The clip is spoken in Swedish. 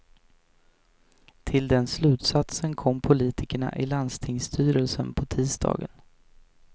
Till den slutsatsen kom politikerna i landstingsstyrelsen på tisdagen.